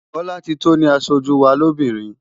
Bolatito ni aṣojú wa lóbìnrin.